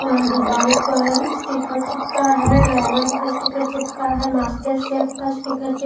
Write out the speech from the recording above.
अ दीवाल पर स्टीकर चिपका है ड्रैगन का स्टीकर चिपका है मास्टरशेफ का स्टीकर चि --